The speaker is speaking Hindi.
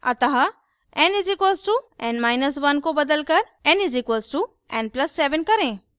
अतः n = n1 को बदलकर n = n + 7 करें